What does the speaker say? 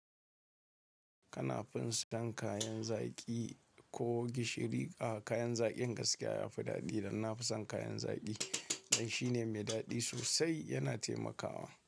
Kana fin son kayan zaki ko gishiri? A kayan zakin gaskiya yafi dadi don nafison kayan zaki dan shi ne mai daɗi sosai yana taimakawa.